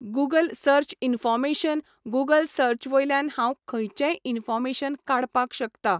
Google search information Google सर्चवयल्यान हांव खंयचेय इनफोमेशन काडपाक शकता